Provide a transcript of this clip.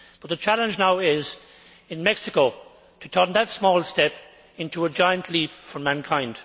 But the challenge now is, in Mexico, to turn that small step into a giant leap for mankind.